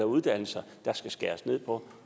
uddannelser der skal skæres ned på